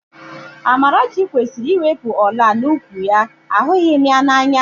Amarachi kwesịrị iwepu ọ̀lá n'úkwù ya, ahụghị m ya n'anya